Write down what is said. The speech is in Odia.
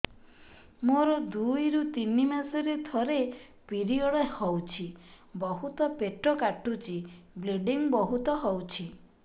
ମୋର ଦୁଇରୁ ତିନି ମାସରେ ଥରେ ପିରିଅଡ଼ ହଉଛି ବହୁତ ପେଟ କାଟୁଛି ବ୍ଲିଡ଼ିଙ୍ଗ ବହୁତ ହଉଛି